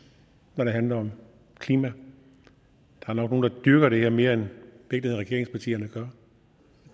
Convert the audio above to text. når det handler om klima der er nok nogle der dyrker det her mere end regeringspartierne gør